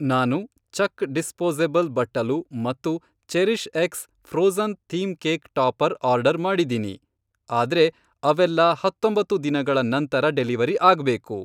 ನಾನು ಚಕ್ ಡಿಸ್ಪೋಸಬಲ್ ಬಟ್ಟಲು ಮತ್ತು CherishX frozen theme cake topper order ಮಾಡಿದೀನಿ, ಆದ್ರೆ ಅವೆಲ್ಲಾ ಹತ್ತೊಂಬತ್ತು ದಿನಗಳ ನಂತರ ಡೆಲಿವರಿ ಆಗ್ಬೇಕು.